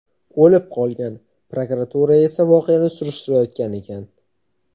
o‘lib qolgan, prokuratura esa voqeani surishtirayotgan ekan.